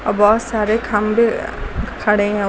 औ बहोत सारे खंबे खड़े हैं।